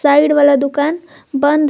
Side वाला दुकान बन्द है।